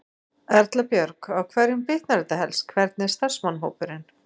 Erla Björg: Á hverjum bitnar þetta helst, hvernig er starfsmannahópurinn?